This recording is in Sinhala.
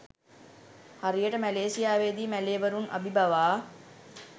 හරියට මැලේසියාවේදී මැලේවරුන් අබිබවා